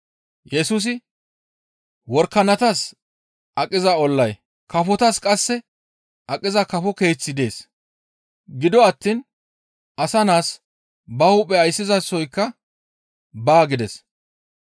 Yesusi, «Worakanatas aqiza ollay, kafotas qasse aqiza kafo keeththi dees; gido attiin asa naas ba hu7e ayssizasoykka baa» gides.